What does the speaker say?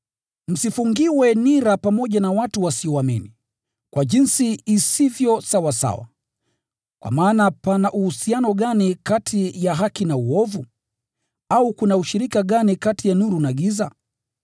Msifungiwe nira pamoja na watu wasioamini, kwa jinsi isivyo sawasawa, kwa maana pana uhusiano gani kati ya haki na uovu? Au kuna ushirika gani kati ya nuru na giza?